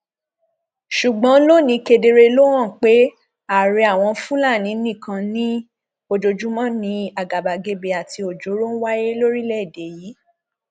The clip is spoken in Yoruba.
ṣùgbọn lónìí kedere ló hàn pé ààrẹ àwọn fúlàní nìkan ni ojoojúmọ ni àgàbàgebè àti ọjọọrọ ń wáyé lórílẹèdè yìí